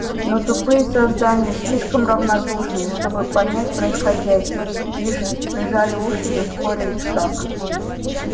но тупые создания слишком равнодушные чтобы понять происходящее лишь прижали уши и ускорили шаг